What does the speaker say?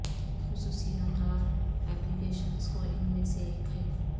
خصوصیات اور applications کو ان میں سے ایک ہے